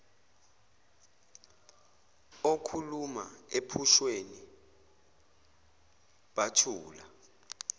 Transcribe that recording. okhuluma ephusheni bathula